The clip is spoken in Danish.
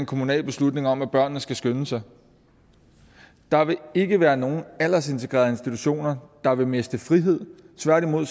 kommunal beslutning om at børnene skal skynde sig der vil ikke være nogen aldersintegrerede institutioner der vil miste frihed tværtimod